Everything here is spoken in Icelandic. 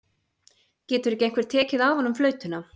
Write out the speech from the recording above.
Getur ekki einhver tekið af honum flautuna?